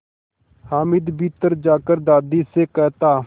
हामिद भीतर जाकर दादी से कहता